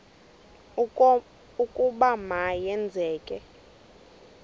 ukuba ma yenzeke